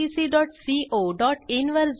httpwwwirctccoin वर जा